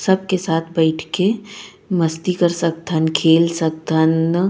सबके साथ बईथ के मस्ती कर सकथन खेल सकथन ।